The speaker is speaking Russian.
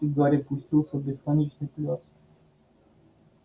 и гарри пустился в бесконечный пляс